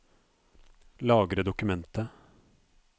Lagre dokumentet